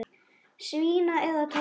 Svína eða toppa?